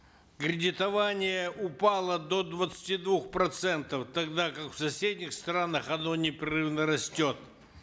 кредитование упало до двадцати двух процентов тогда как в соседних странах оно непрерывно растет